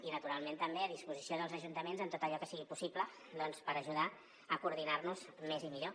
i naturalment també a disposició dels ajuntaments en tot allò que sigui possible doncs per ajudar a coordinar nos més i millor